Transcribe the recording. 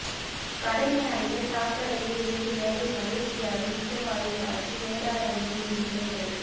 கடனை அடைக்க சாக்கடையில் இறங்கி வேலை மலேசியாவில் விஷ வாயு தாக்கி வேதாரண்யம் இன்ஜினியர் பலி